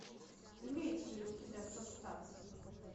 имеется ли у тебя состав